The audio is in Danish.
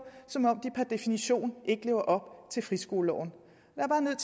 som om de per definition ikke lever op til friskoleloven